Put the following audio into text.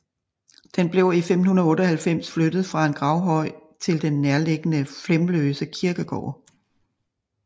Den blev i 1598 flyttet fra en gravhøj til den nærliggende Flemløse Kirkegård